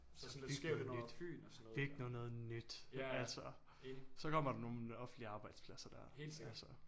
Så byg noget nyt byg nu noget nyt altså så kommer der nogle offentlige arbejdspladser dér altså